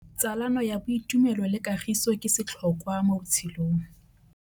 Tsalano ya boitumelo le kagiso ke setlhôkwa mo botshelong.